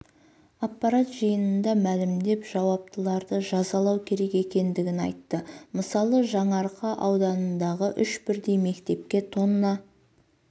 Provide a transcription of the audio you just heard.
аппарат жиынында мәлімдеп жауаптыларды жазалау керек екенін айтты мысалы жаңарқа ауданындағы үш бірдей мектепке тонна